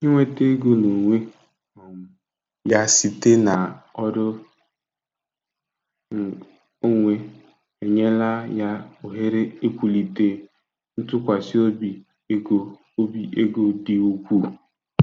Inweta ego n'onwe um ya site na ọrụ ng onwe enyela ya ohere iwulite ntụkwasị obi ego obi ego dị ukwuu.